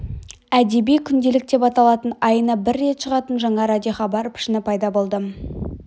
әдеби күнделік деп аталатын айына бір рет шығатын жаңа радиохабар пішіні пайда болды